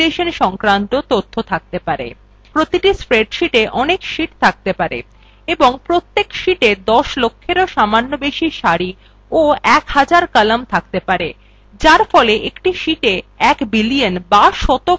প্রতিটি spreadsheeta অনেক sheets থাকতে পারে এবং প্রত্যেক sheetsa দশ লক্ষেরও সামান্য বেশি সারি এবং এক হাজার কলাম থাকতে পারে যার ফলে একটি sheetsa এক billion বা sheets কোটি cells থাকতে পারে